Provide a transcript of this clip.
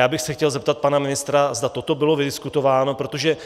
Já bych se chtěl zeptat pana ministra, zda toto bylo vydiskutováno, protože